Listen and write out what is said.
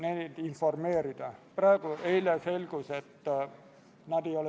Esimene lugemine toimus k.a 25. septembril.